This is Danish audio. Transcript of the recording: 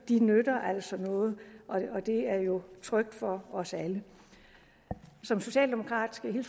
nytter noget og det er jo trygt for os alle som socialdemokrat skal jeg